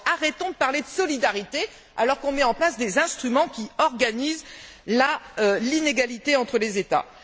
Arrêtons donc de parler de solidarité, alors qu'on met en place des instruments qui organisent l'inégalité entre les États.